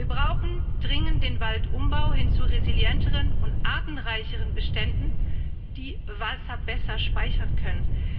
Wir brauchen dringend den Waldumbau, hin zu resilienteren und artenreicheren Beständen, die Wasser besser speichern können.